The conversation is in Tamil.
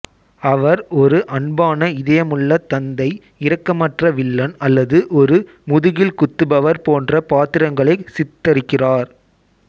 அவர் ஒரு அன்பான இதயமுள்ள தந்தை இரக்கமற்ற வில்லன் அல்லது ஒரு முதுகில் குத்துபவர் போன்ற பாத்திரங்களை சித்தரிக்கிறார்